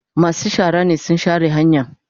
Masu shara ne sun share hanyan.